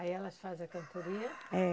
Aí elas fazem a cantoria? É